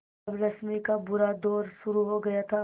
अब रश्मि का बुरा दौर शुरू हो गया था